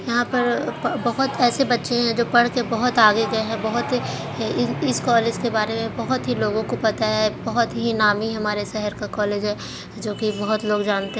यहां पर बहोत ऐसे बच्चे हैं जो पढ़ के बहुत आगे गए हैं बहोत इस कॉलेज के बारे में बहोत ही लोगों को पता है बहोत ही नामी है हमारे शहर का कॉलेज है जो की बहोत लोग जानते हैं।